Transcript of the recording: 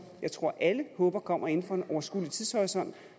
jeg tror alle håber kommer inden for en overskuelig tidshorisont